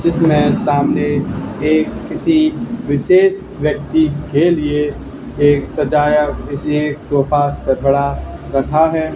जिसमें सामने एक किसी विशेष व्यक्ति के लिए एक सजाया किसी एक सोफा पड़ा रखा है।